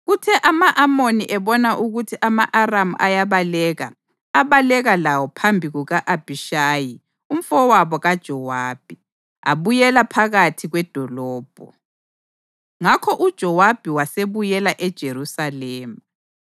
Kuthe ama-Amoni ebona ukuthi ama-Aramu ayabaleka, abaleka lawo phambi kuka-Abhishayi umfowabo kaJowabi, abuyela phakathi kwedolobho. Ngakho uJowabi wasebuyela eJerusalema.